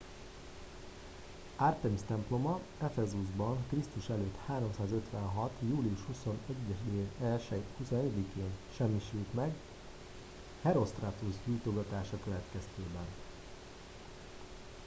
artemis temploma ephesusban kr.e. 356. július 21-én semmisült meg herostratus gyújtogatása következtében